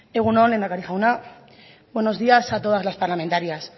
egun on lehendakari jauna buenos días a todas las parlamentarias